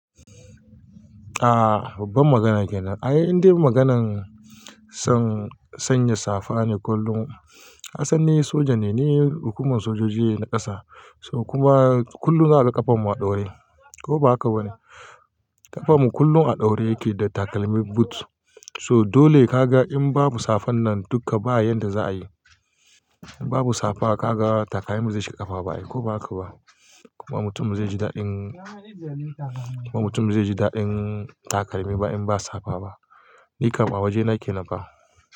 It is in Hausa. Aaa babban magana kenan. Ai indai maganan son sanya safa ne kullum. Kasan ni soja ne, ni hukuman sojoji ne na ƙasa. So kuma kullum za a ga ƙafan mu a ɗore. Ko ba haka bane? Ƙafan mu kullum a ɗaure yake da takalmin boot. To dole ka ga in babu safan nan dukka ba yanda za a yi. In babu safa ka ga takalmin mu zai shiga ƙafa ba ai ko baka ba. Kuma mutumin zai ji daɗin, kuma mutumin zai ji daɗin takalmi ba in ba safa ba. Ni kam a waje na kenan fa.